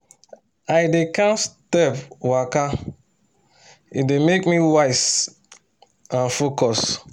i dey count step waka e dey waka e dey make me wise and focus